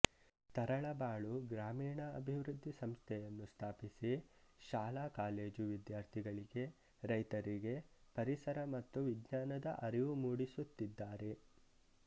ತರಳಬಾಳು ಗ್ರಾಮೀಣ ಅಭಿವೃದ್ಧಿ ಸಂಸ್ಥೆಯನ್ನು ಸ್ಥಾಪಿಸಿ ಶಾಲಾ ಕಾಲೇಜು ವಿದ್ಯಾರ್ಥಿಗಳಿಗೆ ರೈತರಿಗೆ ಪರಿಸರ ಮತ್ತು ವಿಜ್ಞಾನದ ಅರಿವು ಮೂಡಿಸುತ್ತಿದಗದಾರೆ